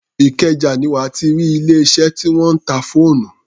Ìkẹjà ni wà á ti rí ilé-iṣẹ́ tí wọ́n ń ta fóònù.